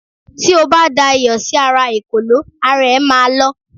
ti o ba da iyò sí ara ekòló, ara e ma lọ